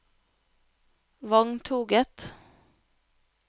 vogntoget